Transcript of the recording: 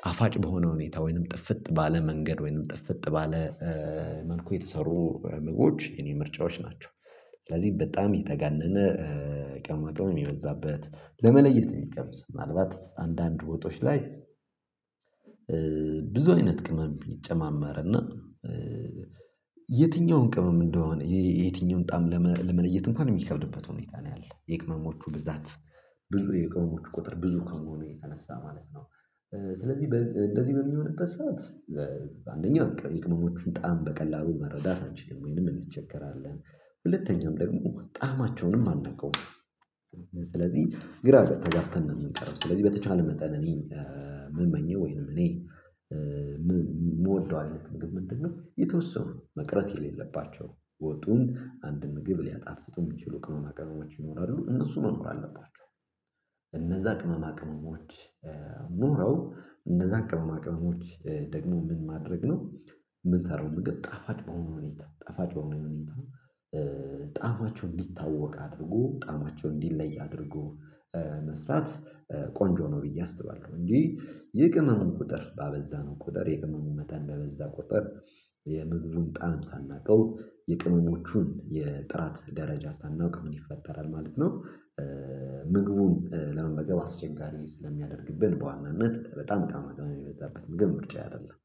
ጣፋጭ በሆነ ሁኔታ ወይንም ጥፍጥ ባለ መንገድ ወይንም ጥፍጥ ባለ መልኩ የተሰሩ ምግቦች የኔ ምርጫዎች ናቸው። ስለዚህ በጣም የተጋነነ ቅመማ ቅመም የበዛበት ለመለየት የሚከብድ ምናልባት አንዳንድ ወጦች ላይ ብዙ አይነት ቅመም ይጨማመርና የትኛውን ቅመም እንደሆነ የትኛውን ጣዕም ለመለየት እንኳን የሚከብድበት ሁኔታ ነው ያለው የቅመሞቹ ብዛት የቅመሞቹ ቁጥር ብዙ ከመሆኑ የተነሳ ማለት ነው። ስለዚህ እንደዚህ በሚሆንበት ሰዓት በአንደኛው የቅመሞቹን ጣዕም በቀላሉ መረዳት አንችልም ወይንም እንቸገራለን ሁለተኛም ደግሞ ጣእማቸውንም አናቀውም። ስለዚህ ግራ ተጋብተን ነው የምንቀረው ስለዚህ በተቻለ መጠን እኔ የምመኘው ወይንም እኔ የምወደው አይነት ምግብ ምንድነው? የተወሰኑ መቅረት የሌለባቸው ወጡን አንድ ምግብ ሊያጣፍጡ የሚችሉ ቅመማ ቅመሞች ይኖራሉ እነሱ መኖር አለባቸው። እነዛ ቅመማ ቅመሞች ኑረው እነዛን ቅመማ ቅመሞች ደግሞ ምን ማድረግ ነው? የምንሰራው ምግብ ጣፋጭ በሆነ ሁኔታ ጣፋጭ በሆነ ሁኔታ ጣፋጩ እንዲታወቅ አድርጎ ጣዕማቸው እንዲለይ አድርጎ መስራት ቆንጆ ነው ብዬ አስባለሁ። እንጂ የቅመሙን ቁጥር ባበዛነው ቁጥር የቅመሙ መጠን በበዛ ቁጥር የምግቡን ጣዕም ሳናውቀው የቅመሞቹን የጥራት ደረጃ ሳናውቅ ምን ይፈጠራል ማለት ነው። ምግቡን ለመመገብ አስቸጋሪ ስለሚያደርግብን በዋናነት በጣም ቅመማቅመም የበዛበት ምግብ ምርጫዬ አይደለም